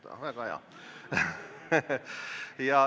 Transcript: Väga hea!